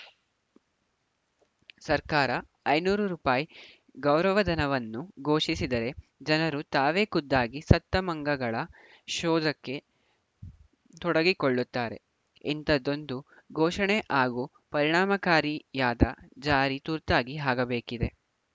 ಸರ್ಕಾರ ಐನೂರು ರೂಪಾಯಿ ಗೌರವಧನವನ್ನು ಘೋಷಿಸಿದರೆ ಜನರು ತಾವೇ ಖುದ್ದಾಗಿ ಸತ್ತ ಮಂಗಗಳ ಶೋಧಕ್ಕೆ ತೊಡಗಿಕೊಳ್ಳುತ್ತಾರೆ ಇಂಥದೊಂದು ಘೋಷಣೆ ಹಾಗೂ ಪರಿಣಾಮಕಾರಿಯಾದ ಜಾರಿ ತುರ್ತಾಗಿ ಆಗಬೇಕಿದೆ